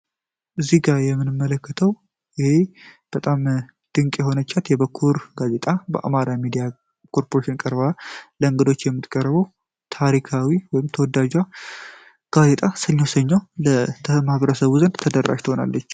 እዚህ ጋር የምንመለከተው ይህ በጣም ድንቅ የሆነቻት የበኩር ጋዜጣ በአማራ ሜዲያ ኮርፖሬሽን ቀርባ ለእንገዶች የምጥቀረበው ታሪካዊ ወይ ተወዳጇ ጋዜጣ ሰኞ ሰኞ ማህበረሰቡ ዘንድ ተደራሽ ትሆናለች።